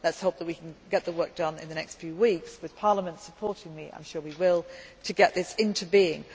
does not exist yet. Let us hope that we can get the work done in the next few weeks. With Parliament supporting me, I am sure we will, so we can